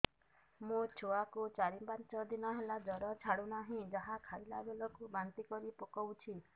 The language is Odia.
ମୋ ଛୁଆ କୁ ଚାର ପାଞ୍ଚ ଦିନ ହେଲା ଜର ଛାଡୁ ନାହିଁ ଯାହା ଖାଇଲା ବେଳକୁ ବାନ୍ତି କରି ପକଉଛି